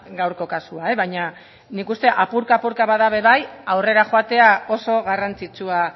gaurko kasua baina nik uste apurka apurka bada ere bai aurrera joatea oso garrantzitsua